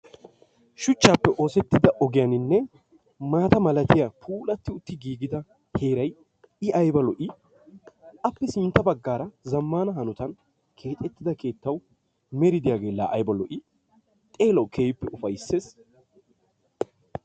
Shuchchape oossetida ogiyaninne maata milaatiya puulaatiutti gigida heeray i ayba lo'i. Appe sintta baggaara zammana honotan keexxeettida keettawu meri de'iyage la ayba lo'i? Xeelawu keehippe ufaysses.